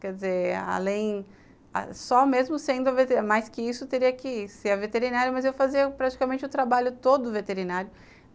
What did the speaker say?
Quer dizer, além... só mesmo sendo a veterinária, mais que isso, teria que ser a veterinária, mas eu fazia praticamente o trabalho todo veterinário.